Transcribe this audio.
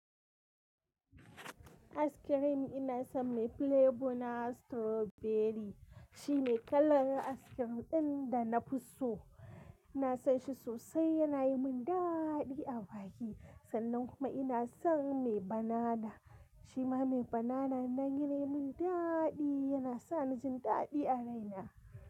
Aiskirim ina son mai flavour na strawberry, shi mai kalar askirim ɗin da na fi so. Ina son shi sosai, yana yi mun daaaɗi a baki. Sannan kuma ina son mai banana, shima mai banana nan yana yi mun daaaɗi, yana sa ni jin daaɗi a raina.